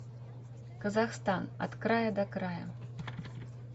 казахстан от края до края